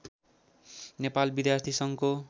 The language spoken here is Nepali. नेपाल विद्यार्थी सङ्घको